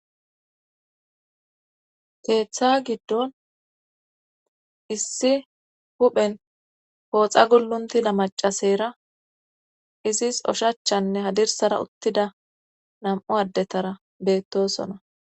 Keeththa giddon issi huphen pooxa gulluntida macaseyra izis oshachanne hadirsara uttida nam'u addetara beettosona